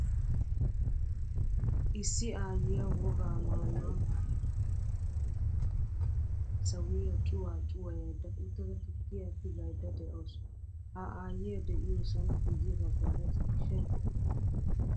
Issi aayiyaa wogaa maayuwaa maayda ba keettan dumm dumma sawiyaa cuwaa cuwayayida uttada tukkiya tigaydda de'awusu. Ha aayiyaa deiyosan guye baggaara ciishshaykka de'ees.